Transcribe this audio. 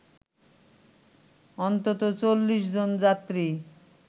অন্তত ৪০ জন যাত্রী